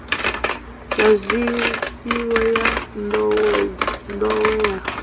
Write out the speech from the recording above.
ya zwifhiwa ya nḓowenḓowe ya